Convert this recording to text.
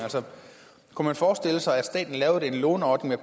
kunne man forestille sig at staten lavede en låneordning